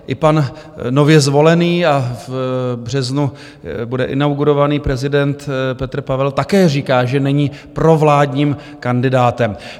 I pan nově zvolený, a v březnu bude inaugurovaný, prezident Petr Pavel také říká, že není provládním kandidátem.